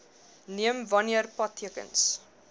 neem wanneer padtekens